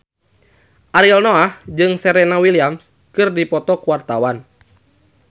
Ariel Noah jeung Serena Williams keur dipoto ku wartawan